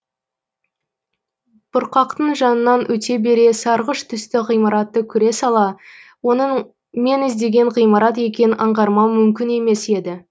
бұрқақтың жанынан өте бере сарғыш түсті ғимараттты көре сала оның мен іздеген ғимарат екенін аңғармау мүмкін емес еді